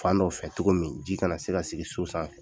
Fan dɔw fɛ cogo min ji kana se ka sigi so sanfɛ.